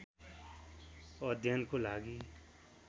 अध्ययनको लागि